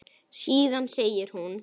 Síðan segir hún